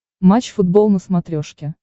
матч футбол на смотрешке